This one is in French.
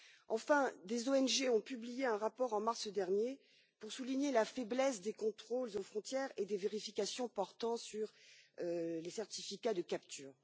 Enfin, des ONG ont publié un rapport en mars dernier pour souligner la faiblesse des contrôles aux frontières et des vérifications portant sur les certificats de capture.